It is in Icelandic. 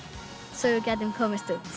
svo við gætum komist út